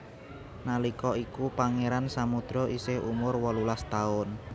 Nalika iku Pangeran Samudro isih umur wolulas taun